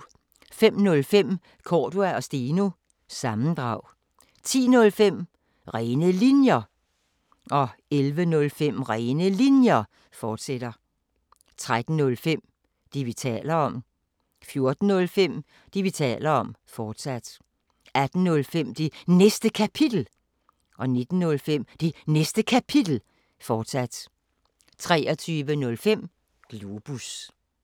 05:05: Cordua & Steno – sammendrag 10:05: Rene Linjer 11:05: Rene Linjer, fortsat 13:05: Det, vi taler om 14:05: Det, vi taler om, fortsat 18:05: Det Næste Kapitel 19:05: Det Næste Kapitel, fortsat 23:05: Globus